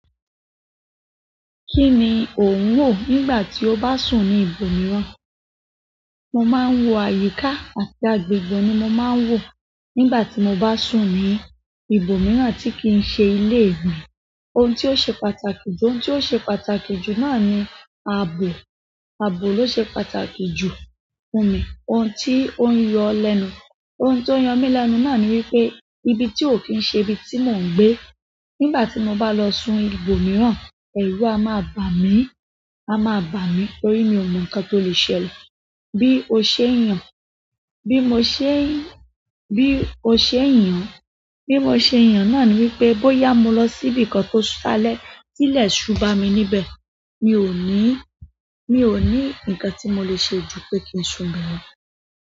Kí ni ò ń wò nígbà tí o bá sùn ní ibòmíràn? Mo máa ń wò àyíká àti agbègbè ni mo máa ń wò nígbà tí mo bá sùn ní ibòmíràn tí kì n ṣe ilé mi. Ohun tí ó ṣe pàtàkì jù, ohun tí ó ṣe pàtàkì jù náà ni ààbò, ààbò ló ṣe pàtàkì jù fún mi. Ohun tí ó ń yọ lẹ́nu, ohun tó ń yọ mí lẹ́nu náà ni wípé ibi tí ò kín ṣe ibi tí mò ń gbé. Nígbà tí mo bá lọ sùn ibòmíràn, ẹ̀rù a máa bà mí, a máa bà mí torí mi ò mọ nǹkan tó lè ṣẹlẹ̀. Bí o ṣe èèyàn, bí mo ṣe, bí o ṣe èèyàn, bí mo ṣe yàn náà ni wípé bóyá mo lọ sí ibìkan tó sá lẹ̀, tí ilẹ̀ ṣú bá mi níbẹ̀, mi ò ní, mi ò ní nǹkan tí mo lè ṣe ju pé kí n sùnbẹ̀ lọ.